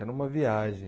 Era uma viagem.